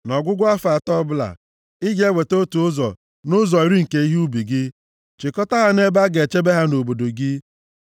Nʼọgwụgwụ afọ atọ ọbụla, ị ga-eweta otu ụzọ nʼụzọ iri nke ihe ubi gị, chịkọta ha nʼebe a ga-echebe ha nʼobodo gị,